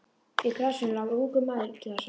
Í grasinu lá ungur maður illa sár.